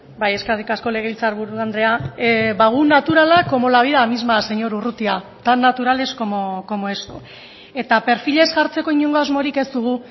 bai eskerrik asko legebiltzarburu andrea ba gu naturalak como la vida misma señor urrutia tan naturales como eso eta perfilez jartzeko inongo asmorik ez dugu